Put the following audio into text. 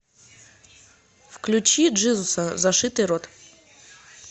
включи джизуса зашитый рот